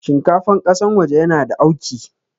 Shinkafar ƙasan waje yana da auki